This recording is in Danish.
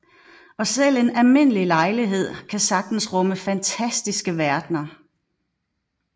Og selv en almindelig lejlighed kan sagtens rumme fantastiske verdener